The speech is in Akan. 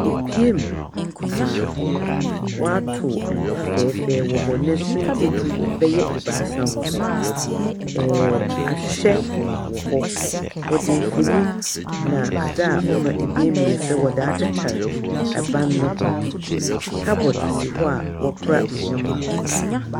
Epiemu a wɔatow mpa fɛɛfɛw wɔ hɔ na sumdze bɛyɛ ebaasa wɔ hɔ. Ɛɛɛɛ . Ahwehwɛ wɔ hɔ. Wɔdze mfonyin na adze a ɔma dan mu yɛ fɛ, wɔdze atetar ban no ho. Cupboard si hɔ a wɔkora ndzɛmba wɔ hɔ.